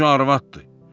Qoca arvaddır.